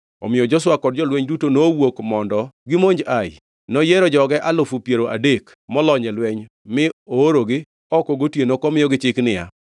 Omiyo Joshua kod jolweny duto nowuok mondo gimonj Ai. Noyiero joge alufu piero adek molony e lweny mi oorogi oko gotieno komiyogi chik niya,